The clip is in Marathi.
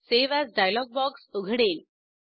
सावे एएस डायलॉग बॉक्स उघडेल